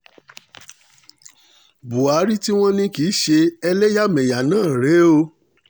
buhari tí wọ́n ní kìí ṣe ẹlẹyamẹya náà rèé o